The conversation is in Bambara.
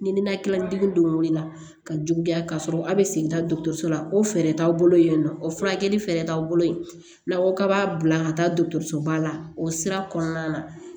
Ni ninakili degeli don o de la ka juguya ka sɔrɔ a bɛ segin ka dɔgɔtɔrɔso la ko fɛɛrɛ t'aw bolo yen nɔ o furakɛli fɛɛrɛ t'aw bolo n'a ko k'a b'a bila ka taa dɔgɔtɔrɔso ba la o sira kɔnɔna na